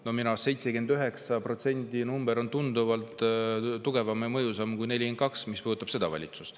Ja minu meelest 79%, mis puudutab seda valitsust, on tunduvalt tugevam ja mõjusam number kui 42%.